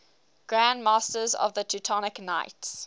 grand masters of the teutonic knights